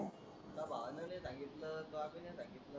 भावा न नाही सांगितल त्यो बी नाही सांगितल.